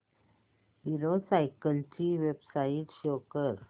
hero cycles ची website show कर